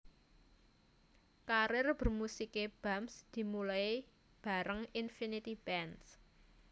Karir bermusiké Bams dimulai bareng Infinity Band